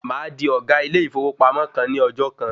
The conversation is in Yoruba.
Màá di ọ̀gá ilé ìfowópamọ́ kan ní ọjọ́ kan.